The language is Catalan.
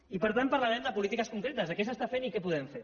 i per tant parlarem de polítiques concretes de què s’està fent i què podem fer